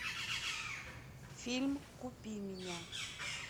фильм купи меня